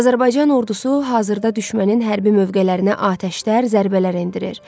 Azərbaycan Ordusu hazırda düşmənin hərbi mövqelərinə atəşlə, zərbələr endirir.